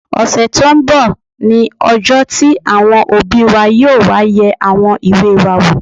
Ọ̀sẹ̀ tó n bọ̀ ní ọjọ́ tí àwọn òbí wa yóò wá yẹ àwọn ìwé wa wò